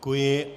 Děkuji.